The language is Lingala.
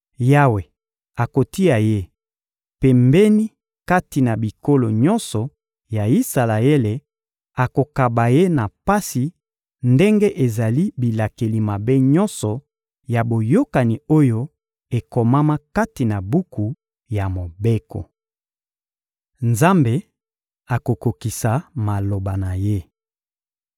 Yawe akotia ye pembeni kati na bikolo nyonso ya Isalaele, akokaba ye na pasi ndenge ezali bilakeli mabe nyonso ya boyokani oyo ekomama kati na buku ya Mobeko. Nzambe akokokisa maloba na Ye